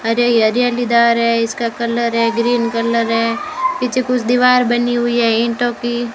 हरि हरियालीदार है इसका कलर है ग्रीन कलर है पीछे कुछ दीवार बनी हुई है ईंटों की।